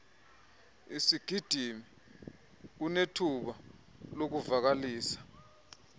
sigidimi unethuba lokuvakalisa